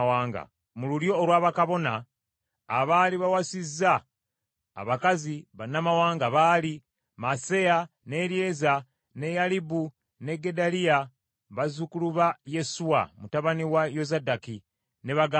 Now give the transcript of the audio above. Mu lulyo olwa bakabona, abaali bawasizza abakazi bannamawanga baali: Maaseya, ne Eryeza ne Yalibu ne Gedaliya bazzukulu ba Yesuwa mutabani wa Yozadaki ne baganda be.